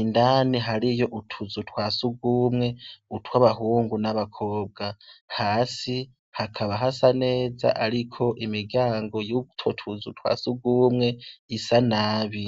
indani hariyo utuzu twasugumwe utw'abahungu n'abakobwa hasi hakaba hasa neza ariko imigango y'utotuzu twasugumwe isa nabi.